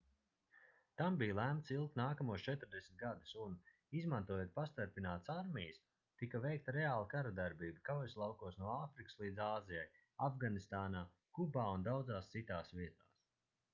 tam bija lemts ilgt nākamos 40 gadus un izmantojot pastarpinātas armijas tika veikta reāla karadarbība kaujaslaukos no āfrikas līdz āzijai afganistānā kubā un daudzās citās vietās